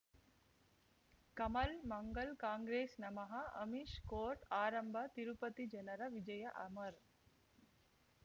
ಕಮಲ್ ಮಂಗಳ್ ಕಾಂಗ್ರೆಸ್ ನಮಃ ಅಮಿಷ್ ಕೋರ್ಟ್ ಆರಂಭ ತಿರುಪತಿ ಜನರ ವಿಜಯ ಅಮರ್